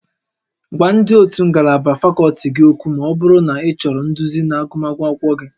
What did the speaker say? Gwa ndị ótú ngalaba fakọlti gị okwu ma ọ bụrụ na ịchọrọ nduzi na agụmakwụkwọ gị